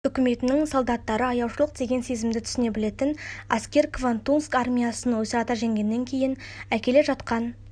үкіметінің солдаттары аяушылық деген сезімді түсіне білетін әскер квантунск армиясын ойсырата жеңгеннен кейін әкеле жатқан